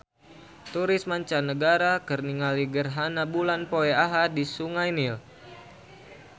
Turis mancanagara keur ningali gerhana bulan poe Ahad di Sungai Nil